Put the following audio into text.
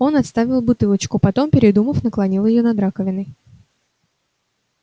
он отставил бутылочку потом передумав наклонил её над раковиной